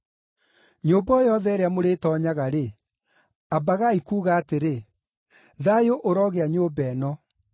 “Nyũmba o yothe ĩrĩa mũrĩtoonyaga-rĩ, ambagai kuuga atĩrĩ, ‘Thayũ ũrogĩa nyũmba ĩno.’